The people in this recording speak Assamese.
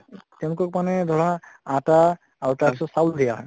তেওঁলোকক মানে ধৰা আটা আৰু তাৰ পিছত চাউল দিয়া হয়